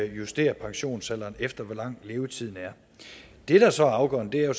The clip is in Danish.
justerer pensionsalderen efter hvor lang levetiden er det der så er afgørende er jo